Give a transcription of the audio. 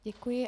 Děkuji.